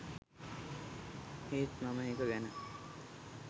ඒත් මම එක ගැන